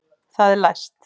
Það er læst!